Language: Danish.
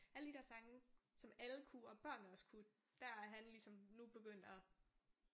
Alle de der sange som alle kunne og børnene også kunne der er han ligesom nu begyndt at